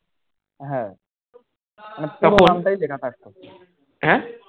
হ্যাঁ